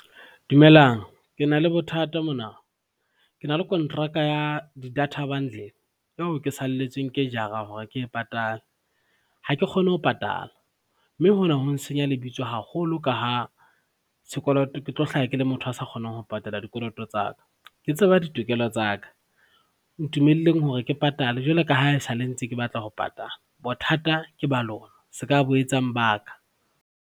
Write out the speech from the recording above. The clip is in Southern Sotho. Dumelang ke na le bothata mona, ke na le kontraka ya di-data bundle yeo ke salletsweng ke jara hore ke e patale. Ha ke kgone ho patala, mme hona ho ntshenya lebitso haholo ka ha sekoloto ke tlo hlaha ke le motho a sa kgonang ho patala dikoloto tsa ka. Ke tseba ditokelo tsa ka, ntumellang hore ke patale jwalo ka ha e sale ntse ke batla ho patala bothata ke balona se ka bo etsang ba ka.